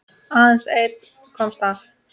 Aðeins einn komst af.